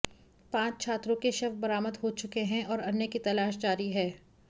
पांच छात्रों के शव बरामद हो चुके हैं और अन्य की तलाश जारी है